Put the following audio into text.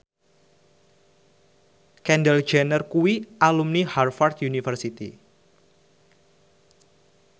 Kendall Jenner kuwi alumni Harvard university